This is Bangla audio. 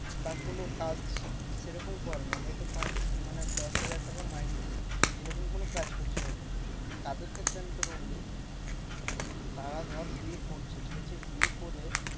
বা কোনো কাজ সেরকম করে না হয়তো পাঁচ মানে দশ হাজার টাকা মাইনে। এরকম কোনো কাজ করছে হয়তো। তাদের ক্ষেত্রে আমি তোকে বলি, তারা ধর বিয়ে করছে ঠিকাছে? বিয়ে করে